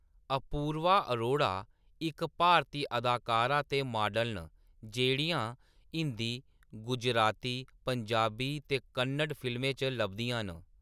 अपूर्वा अरोड़ा इक्क भारती अदाकारा ते माडल न जेह्‌‌ड़ियां हिंदी, गुजराती, पंजाबी ते कन्नड़ फिल्में च लभदियां न।